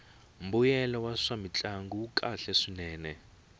mbuyelo wa swamintlangu wu kahle swinene